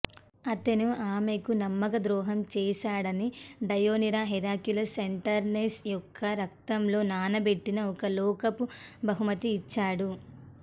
అతను ఆమెకు నమ్మకద్రోహం చేశాడని డయీనిరా హెర్క్యులస్ సెంటౌర్ నెసస్ యొక్క రక్తంలో నానబెట్టిన ఒక లోకపు బహుమతిని ఇచ్చాడు